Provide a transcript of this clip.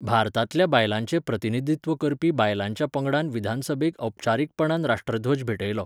भारतांतल्या बायलांचें प्रतिनिधित्व करपी बायलांच्या पंगडान विधानसभेक औपचारीकपणान राश्ट्रध्वज भेटयलो.